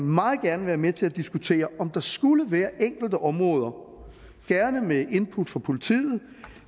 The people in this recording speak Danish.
meget gerne være med til at diskutere om der skulle være enkelte områder gerne med input fra politiet